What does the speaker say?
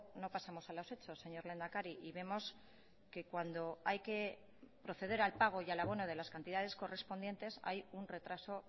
no pasamos a los hechos señor lehendakari y vemos que cuando hay que proceder al pago y al abono de las cantidades correspondientes hay un retraso